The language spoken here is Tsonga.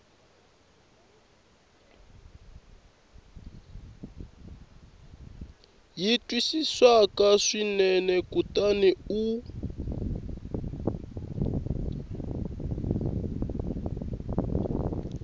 yi twisisaka swinene kutani u